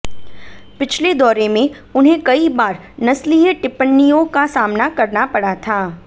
पिछले दौरे में उन्हें कई बार नस्लीय टिप्पणियों का सामना करना पड़ा था